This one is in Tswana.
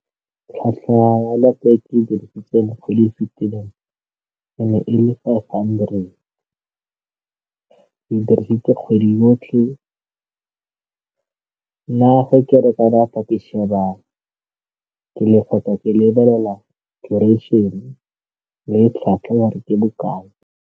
Tlhatlhwa ke dirisitse mo kgwedi e fitileng e ne e le fa hundred dirisitse kgwedi yotlhe. Nna fa ke reka data ke lebelela le tlhwatlhwa ya re ke bokae.